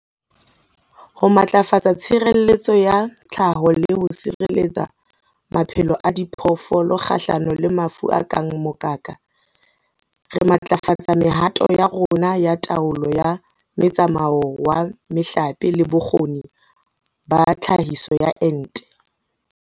Ho matlafatsa tshireletso ya tlhaho le ho sireletsa maphelo a diphoofolo kgahlano le mafu a kang mokaka, re matlafatsa mehato ya rona ya taolo ya metsamao wa mehlape le bokgoni ba tlhahiso ya ente.